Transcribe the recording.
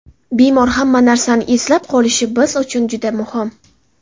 Bemor hamma narsani eslab qolishi biz uchun juda muhim”.